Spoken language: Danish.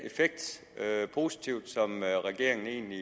positive som regeringen egentlig